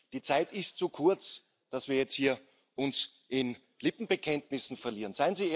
Die Zeit ist zu kurz, dass wir uns jetzt hier in Lippenbekenntnissen verlieren.